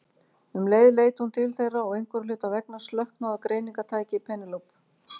Um leið leit hún til þeirra og einhverra hluta vegna slöknaði á greiningartæki Penélope.